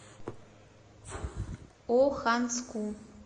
оханску